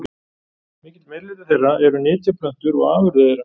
Mikill meirihluti þeirra eru nytjaplöntur og afurðir þeirra.